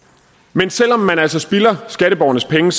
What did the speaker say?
men selv om man altså spilder skatteborgernes penge